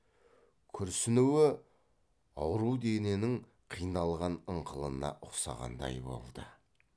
күрсінуі ауру дененің қиналған ыңқылына ұқсағандай болды